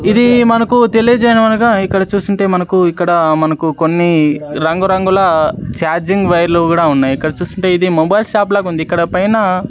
ఇది మనకు తెలియజేయడం అనగా ఇక్కడ చూస్తుంటే మనకు ఇక్కడ మనకు కొన్ని రంగు రంగుల చార్జింగ్ వైర్లు గుడ ఉన్నాయి ఇక్కడ చూస్తుంటే ఇది మొబైల్ షాప్ లాగుంది ఇక్కడ పైన--